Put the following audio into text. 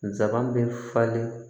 Nsaban bɛ falen